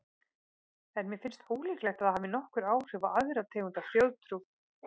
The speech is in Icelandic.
En mér finnst ólíklegt að það hafi nokkur áhrif á aðra tegund af þjóðtrú.